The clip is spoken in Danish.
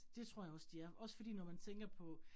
Det tror jeg også de er, også fordi når man tænker på